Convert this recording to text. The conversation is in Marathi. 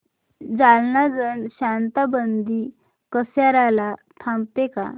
जालना जन शताब्दी कसार्याला थांबते का